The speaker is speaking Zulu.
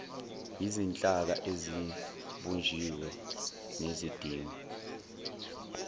yizinhlaka esezibunjiwe nezidingwa